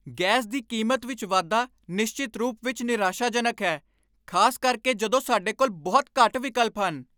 Gas ਦੀ ਕੀਮਤ ਵਿੱਚ ਵਾਧਾ ਨਿਸ਼ਚਿਤ ਰੂਪ ਵਿੱਚ ਨਿਰਾਸ਼ਾਜਨਕ ਹੈ, ਖ਼ਾਸ ਕਰਕੇ ਜਦੋਂ ਸਾਡੇ ਕੋਲ ਬਹੁਤ ਘੱਟ ਵਿਕਲਪ ਹਨ।